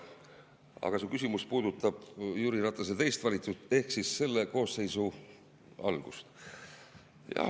Aga su küsimus puudutab Jüri Ratase teist valitsust ehk siis selle koosseisu algust.